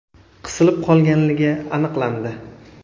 qisilib qolganligi aniqlandi.